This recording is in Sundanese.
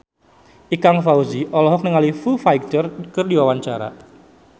Ikang Fawzi olohok ningali Foo Fighter keur diwawancara